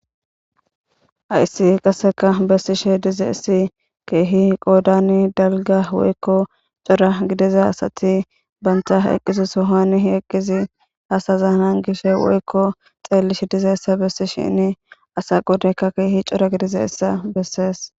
Hayssi qassikka bessishe dizayssi keehi qoodan dalgga woykko cora gidiza asathi banththa eqqizo sohuwani eqqizi asaza gishewu woykko xeellishe dizeyssa bessishiini asa qoodaykka keehi cora gidizeyssa bessees.